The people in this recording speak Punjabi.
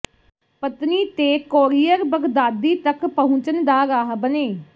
ਪਤਨੀ ਤੇ ਕੋਰੀਅਰ ਬਗ਼ਦਾਦੀ ਤੱਕ ਪਹੁੰਚਣ ਦਾ ਰਾਹ ਬਣੇ